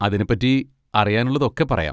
അതിനെപ്പറ്റി അറിയാനുള്ളതൊക്കെ പറയാം.